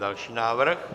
Další návrh.